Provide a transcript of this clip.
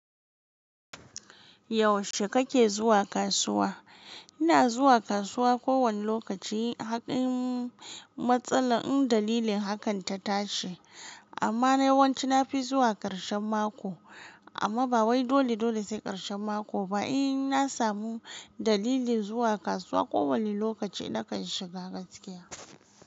Yaushe kake zuwa kasuwa? Ina zuwa kasuwa ko wane lokaci, haƙin matsala in dalilin hakan ta tashi. Amma na yawanci na fi zuwa ƙarshen mako. Amma ba wai dole dole sai ƙarshen mako ba. In na samu dalilin zuwa kasuwa ko wane lokaci, nakan shiga gaskiya.